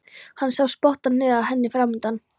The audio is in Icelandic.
Hann sá spottann niður að henni framundan.